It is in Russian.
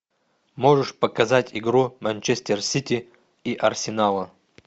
можешь показать игру манчестер сити и арсенала